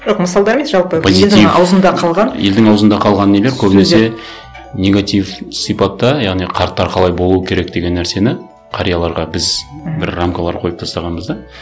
жоқ мысалдар емес жалпы ауызында қалған елдің ауызында қалған нелер көбінесе негатив сипатта яғни қарттар қалай болу керек деген нәрсені қарияларға біз мхм бір рамкалар қойып тастағанбыз да